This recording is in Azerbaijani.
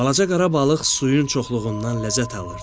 Balaca qara balıq suyun çoxluğundan ləzzət alırdı.